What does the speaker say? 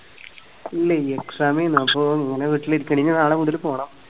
ഇല്ല exam മായിരുന്നു അപ്പോ ഇങ്ങനെ വീട്ടിലിരിക്കയാണ്. ഇനി നാളെ മുതല് പോണം.